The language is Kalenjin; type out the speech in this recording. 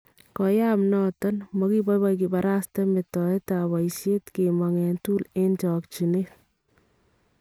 Koyaab noton, makiboiboi kibarasten metoetab boyisheet kemong en tool en chokchineet